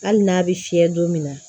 Hali n'a bɛ fiyɛ don min na